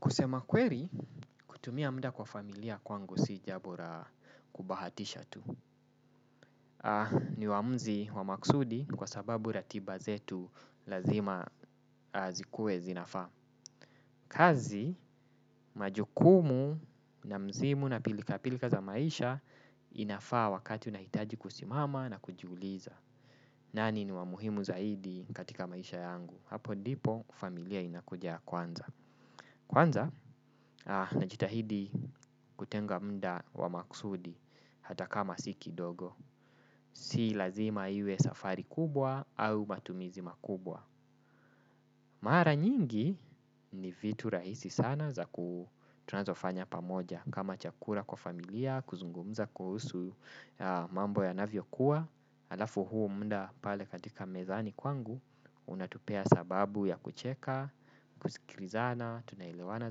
Kusema kweli kutumia muda kwa familia kwangu si jambo la kubahatisha tu. Ni uamuzi wa maksudi kwa sababu ratiba zetu lazima zikuwe zinafaa. Kazi majukumu na msimu na pilka pilka za maisha inafaa wakati unahitaji kusimama na kujiuliza. Nani ni wamuhimu zaidi katika maisha yangu. Hapo ndipo, familia inakuja ya kwanza. Kwanza, najitahidi kutenga muda wa maksudi hata kama si ki dogo. Si lazima iwe safari kubwa au matumizi makubwa. Mara nyingi ni vitu rahisi sana tunazofanya pamoja. Kama chakula kwa familia, kuzungumza kuhusu mambo yanavyo kuwa. hAlafu huu muda pale katika mezani kwangu unatupea sababu ya kucheka, kusikilizana, tunaelewana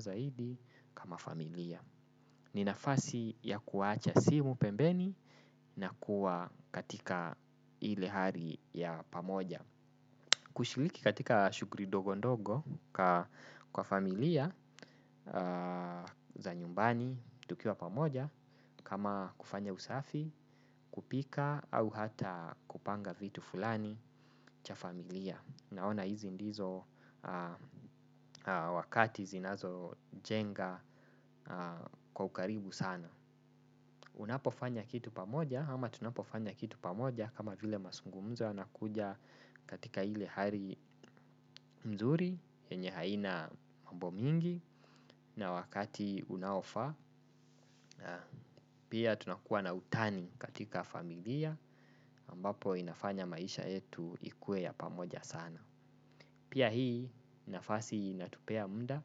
zaidi kama familia. Ninafasi ya kuwacha simu pembeni na kuwa katika ile hali ya pamoja. Kushiriki katika shuhguli ndogo ndogo kwa familia za nyumbani tukiwa pamoja kama kufanya usafi kupika au hata kupanga vitu fulani cha familia naona hizi ndizo wakati zinazojenga kwa ukaribu sana. Unapofanya kitu pamoja ama tunapofanya kitu pamoja kama vile mazungumzo yana kuja katika ile hali mzuri yenye haina mambomingi na wakati unaofaa. Pia tunakuwa na utani katika familia ambapo inafanya maisha yetu ikuwe ya pamoja sana. Pia hii nafasi inatupea muda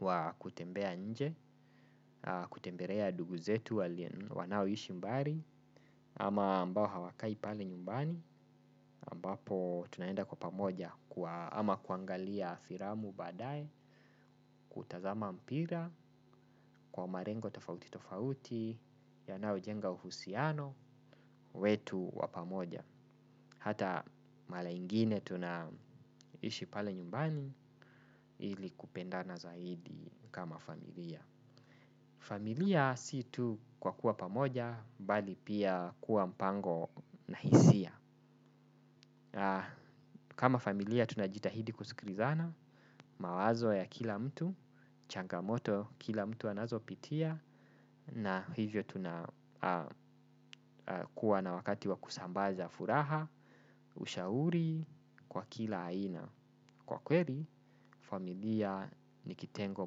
wa kutembea nje, kutembelea ndugu zetu wanao ishi mbali ama ambao hawakai pale nyumbani ambapo tunaenda kwa pamoja ama kuangalia filamu baadae, kutazama mpira, kwa malengo tofauti tofauti, ya nayo jenga uhusiano, wetu wapamoja. Hata mara ingine tunaishi pale nyumbani ili kupendana zaidi kama familia. Familia si tu kwa kuwa pamoja, bali pia kuwa mpango na hisia. Kama familia tuna jitahidi kusikilizana, mawazo ya kila mtu, changamoto kila mtu anazo pitia, na hivyo tuna kuwa na wakati wa kusambaza furaha, ushauri kwa kila aina. Kwa kweli, familia ni kitengo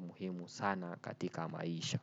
muhimu sana katika maisha.